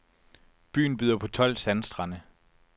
Byen byder på tolv sandstrande.